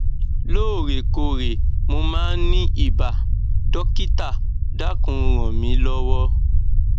lóòrè kóòrè mo máa ń ní ibà dọkítà dákùn ràn mí lọwọ